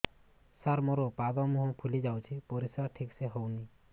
ସାର ମୋରୋ ପାଦ ମୁହଁ ଫୁଲିଯାଉଛି ପରିଶ୍ରା ଠିକ ସେ ହଉନି